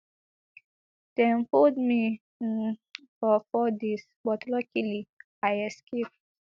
dem hold me um for four days but luckily i escape